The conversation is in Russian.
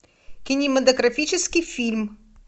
кинематографический фильм